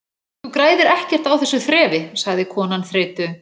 Þú græðir ekkert á þessu þrefi- sagði konan þreytu